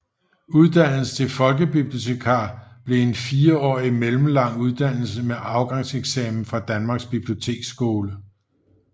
Uddannelsen til folkebibliotekar blev en fireårig mellemlang uddannelse med afgangseksamen fra Danmarks Biblioteksskole